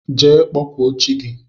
Jee kpọkụọ chi gi!!